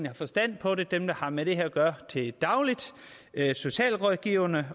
har forstand på det dem der har med det her at gøre til daglig socialrådgiverne